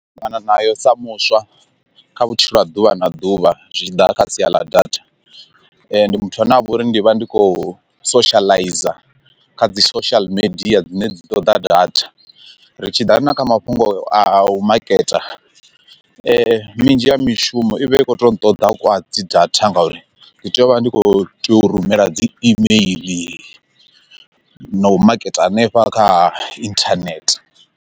Ṱangana nayo sa muswa kha vhutshilo ha ḓuvha na ḓuvha zwi tshi ḓa kha sia ḽa data, ndi muthu ane avha uri ndi vha ndi khou socializer kha dzi social media dzine dzi ṱoḓa data, ri tshiḓa na kha mafhungo a u maketa minzhi ya mishumo i vha i kho to nṱoḓa kwa dzi data ngauri ndi tea u vha ndi kho tea u rumela dzi email na u maketa hanefha kha inthanethe.